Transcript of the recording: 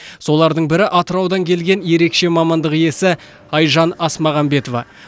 солардың бірі атыраудан келген ерекше мамандық иесі айжан асмағамбетова